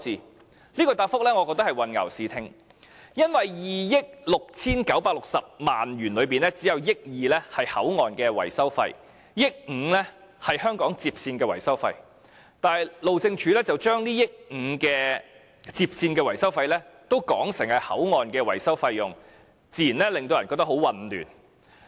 我認為這答覆是混淆視聽，因為在2億 6,960 萬元中，只有1億 2,000 萬元是口岸的維修費 ，1 億 5,000 萬元是香港接線的維修費，但路政署卻將1億 5,000 萬元的接線維修費說成是口岸的維修費用，自然令人感到很混亂。